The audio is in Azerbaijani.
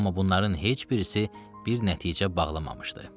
Amma bunların heç birisi bir nəticə bağlamamışdı.